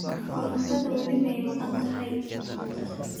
Korontodha wali miyaa maganthy.